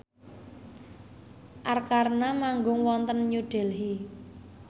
Arkarna manggung wonten New Delhi